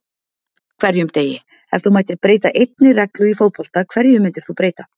hverjum degi Ef þú mættir breyta einni reglu í fótbolta, hverju myndir þú breyta?